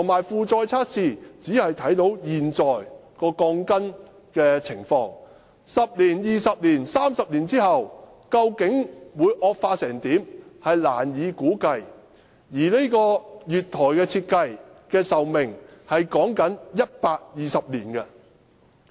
負載測試只能測試現在鋼筋的情況，難以估計10年、20年、30年後，鋼筋會惡化到甚麼地步，而月台設計的壽命是以120年計算的。